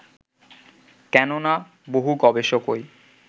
কেননা, বহু গবেষকই